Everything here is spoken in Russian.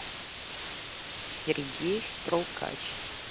сергей струкач